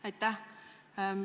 Aitäh!